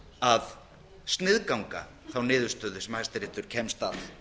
að sniðganga þá niðurstöðu sem hæstiréttur kemst að